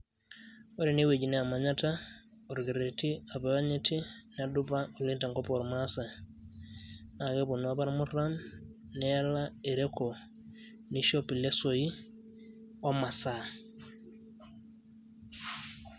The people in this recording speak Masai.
Ore enewueji naa emanyata, orkerreti apa oonyiti, nedupa oleng' tenkop ormaasai. Na keponu apa irmurran, neala ereko, nishop ilesoi omasaa.